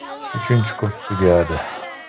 Uchinchi kurs tugadi.